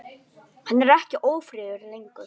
Hann er ekki ófríður lengur.